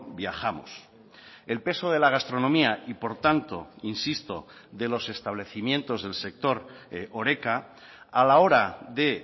viajamos el peso de la gastronomía y por tanto insisto de los establecimientos del sector horeca a la hora de